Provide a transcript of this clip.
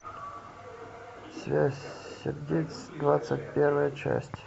связь сердец двадцать первая часть